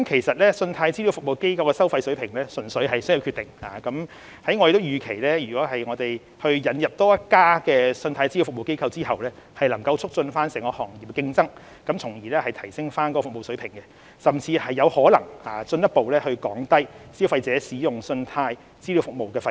信貸資料服務機構的收費水平純屬商業決定，而我們預期在引入多一家信貸資料服務機構後，將可促進整個行業的競爭，從而提升服務水平，甚至有可能進一步降低消費者使用信貸資料服務的費用。